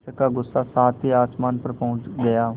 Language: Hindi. शिक्षक का गुस्सा सातवें आसमान पर पहुँच गया